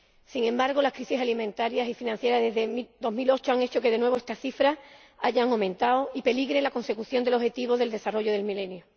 Sin embargo, las crisis alimentarias y financieras desde 2008 han hecho que, de nuevo, estas cifras hayan aumentado y peligre la consecución de los Objetivos de Desarrollo del Milenio.